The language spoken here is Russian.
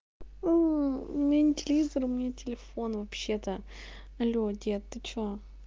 мм у меня нет телевизор у меня телефон вообще-то алло дед ты что